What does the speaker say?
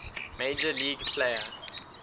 major league player